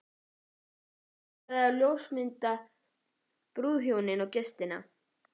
Hann ætlaði að ljósmynda brúðhjónin og gestina.